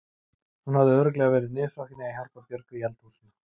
Hún hafði örugglega verið niðursokkin í að hjálpa Björgu í eldhúsinu.